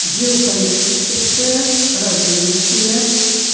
геополитическое развитие